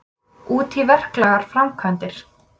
Útí verklegar framkvæmdir.